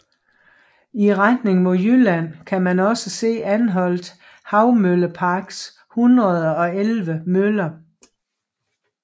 I retning mod Jylland kan man også se Anholt Havmølleparks 111 møller